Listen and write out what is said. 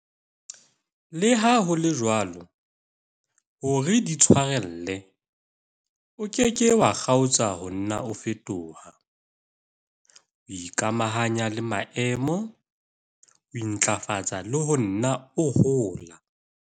Le ha ho le jwalo, hore di tshwarelle, o ke ke wa kgaotsa ho nna o fetoha, o ikamahanya le maemo, o intlafatsa le ho nna o hola.